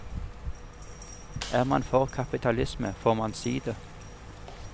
Er man for kapitalisme, får man si det.